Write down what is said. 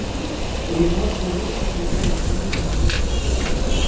Og ég nota þau líka til að hefja söng minn að nýju.